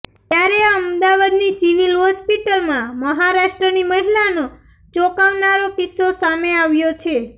ત્યારે અમદાવાદની સિવિલ હોસ્પિટલમાં મહારાષ્ટ્રની મહિલાનો ચોકાવનારો કિસ્સો સામે આવ્યો છે